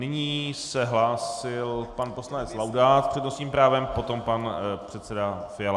Nyní se hlásil pan poslanec Laudát s přednostním právem, potom pan předseda Fiala.